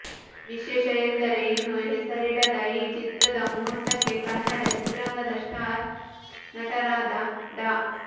ವಿಶೇಷ ಎಂದರೆ ಇನ್ನೂ ಹೆಸರಿಡದ ಈ ಚಿತ್ರದ ಮುಹೂರ್ತಕ್ಕೆ ಕನ್ನಡ ಚಿತ್ರರಂಗದ ಸ್ಟಾರ್ ನಟರಾದ ಡಾ